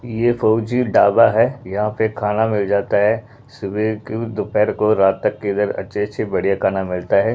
ये फौजी ढाबा है यहां पे खाना मिल जाता है सुबह को दोपहर को रात तक इधर अच्छे अच्छे बढ़िया खाना मिलता है।